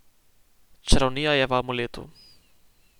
Čarovnija je v amuletu.